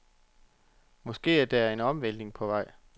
Måske er der en omvæltning på vej.